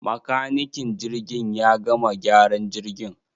Makanikin jirgin ya gama gyaran jirgin.